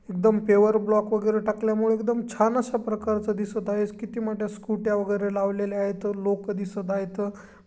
एकदम paver block वगैरे टाकल्यामुळे एकदम छान अशा प्रकारच दिसत आहे. किती मोठ्या स्कूट्या वगैरे लावलेले आहेत. दोन लोक दिसत आहेत.